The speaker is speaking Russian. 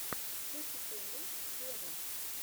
кэти перри вево